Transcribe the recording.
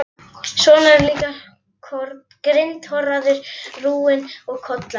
Svona líka grindhoraður, rúinn og kollóttur.